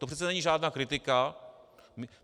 To přece není žádná kritika.